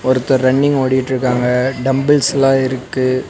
ஒருத்தர் ரன்னிங் ஓடிட்ருக்காங்க டம்புல்ஸ்லா இருக்கு.